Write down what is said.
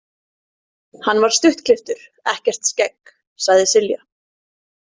Hann var stuttklipptur, ekkert skegg, sagði Silja.